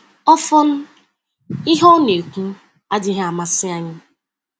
Ọfọn, ihe ọ na-ekwu adịghị amasị anyị!